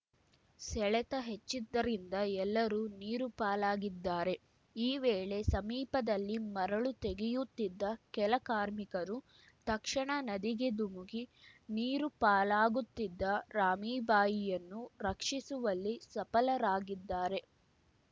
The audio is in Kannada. ಸೆಳೆತ ಹೆಚ್ಚಿದ್ದರಿಂದ ಎಲ್ಲರೂ ನೀರು ಪಾಲಾಗಿದ್ದಾರೆ ಈ ವೇಳೆ ಸಮೀಪದಲ್ಲಿ ಮರಳು ತೆಗೆಯುತ್ತಿದ್ದ ಕೆಲ ಕಾರ್ಮಿಕರು ತಕ್ಷಣ ನದಿಗೆ ಧುಮುಕಿ ನೀರು ಪಾಲಾಗುತ್ತಿದ್ದ ರಾಮೀಬಾಯಿಯನ್ನು ರಕ್ಷಿಸುವಲ್ಲಿ ಸಫಲರಾಗಿದ್ದಾರೆ